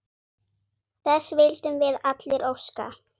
Þess vildum við allir óska.